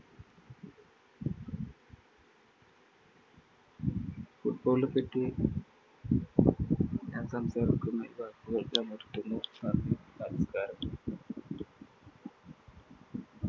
l football നെ പറ്റി ഞാന്‍ സംസാരിക്കുന്ന നിര്‍ത്തുന്നു. നന്ദി, നമസ്കാരം.